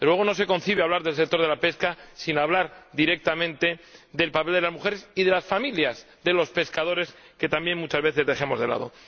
Desde luego, no se concibe hablar del sector de la pesca sin hablar directamente del papel de las mujeres y de las familias de los pescadores —a las que también muchas veces dejamos de lado—.